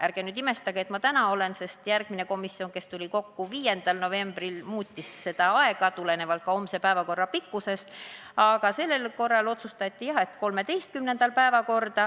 Ärge nüüd imestage, et ma täna siin olen, sest järgmisel komisjoni istungil 5. novembril seda aega muudeti, tulenevalt ka homse päevakorra pikkusest, aga sellel korral otsustati, jah, panna see 13. novembri päevakorda.